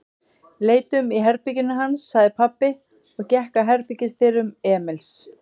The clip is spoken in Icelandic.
Leitum í herberginu hans, sagði pabbi og gekk að herbergisdyrum Emils.